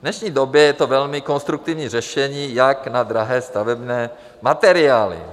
V dnešní době je to velmi konstruktivní řešení, jak na drahé stavební materiály.